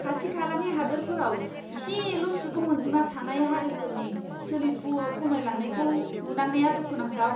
खाथि खालानि हादोरफोराव इसेल' सुबुं अनजिमा थानाय हारिफोरनि सोलिफु खमायलांनायखौ नुनांनाया दुखुनांथाव!